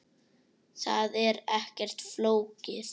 Það er ekkert flókið.